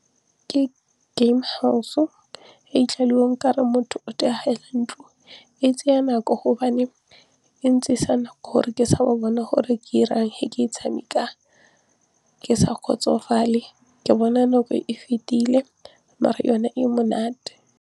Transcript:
Ke Game House e tseya e ekete motho o ntlo e tseya nako hobane e nako gore ke sa ba bona gore ke 'irang he ke e tshameka ke sa kgotsofale ke bona nako e fetile mare yone e monate.